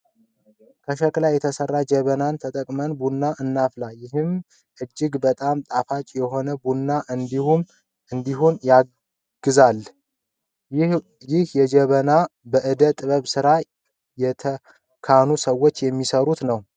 ከሸክላ የተሰራ ጀበናን ተጠቅመን ቡና እናፈላለን። ይህም እጅግ በጣም ጣፋጭ የሆነ ቡና እንዲሆን ያግዛል። ይህ ጀበና በእደ ጥበብ ስራ የተካኑ ሰዎች የሚሰራ ነው።